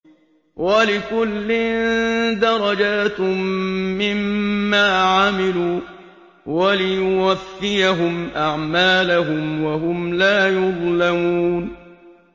وَلِكُلٍّ دَرَجَاتٌ مِّمَّا عَمِلُوا ۖ وَلِيُوَفِّيَهُمْ أَعْمَالَهُمْ وَهُمْ لَا يُظْلَمُونَ